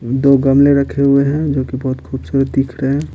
दो गमले रखे हुए हैं जो कि बहुत खूबसूरत दिख रहे है।